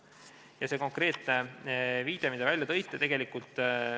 Nüüd selle konkreetse viite kohta, mille te välja tõite.